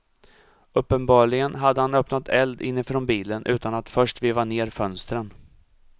Uppenbarligen hade han öppnat eld inifrån bilen utan att först veva ned fönstren.